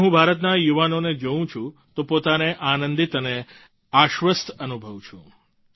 જ્યારે હું ભારતના યુવાનોને જોવું છું તો પોતાને આનંદિત અને આશ્વસ્થ અનુભવું છું